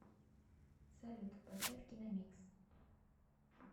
салют поставь киномикс